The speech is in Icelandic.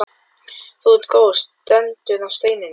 Þú ert góð, stendur á steininum.